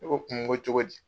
Ne ko kun ko cogo di?